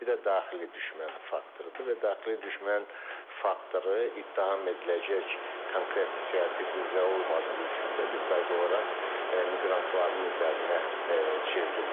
Bir də daxili düşmən faktorudur və daxili düşmən faktoru ittiham ediləcək konkret siyasi qüvvə olmadığı üçün də bir qayda olaraq miqrantların üzərinə çevrilir.